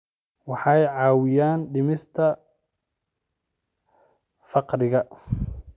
Waxay caawiyaan dhimista faqriga.